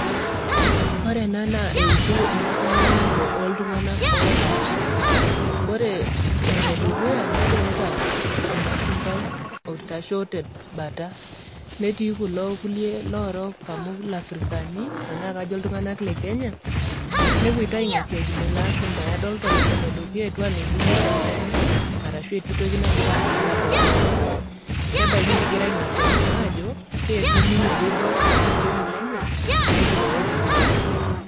Ore ena naa eutu enitanyanyuloto oo iltung'ana oopaasha ore Ole dukuya nadolita olashumbai oitasho te bata, netii kulo kuliek lorook amu kajo ilafrikani anaa kaijo iltung'ana le Kenya nepuitai aing'asiakino ele ashumbai. Adolita oledukuya etiu anaa eibung'ita enkaina arashu etii toki nagira ang'amu teele ashumbai, nebaiki negirai aing'asiakino aajo kaji etiu ninye pee eibor olchoni lenye nekirook iyiok.